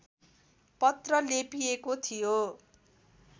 पत्र लेपिएको थियो